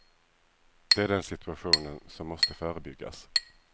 Det är den situationen som måste förebyggas.